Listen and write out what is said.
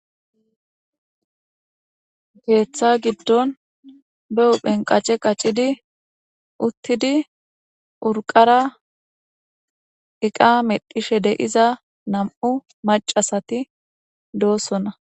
Keeththa giddon behuphenqace qacidi uttidi urqara eqa medhishe deiza nam'u macasati doossona.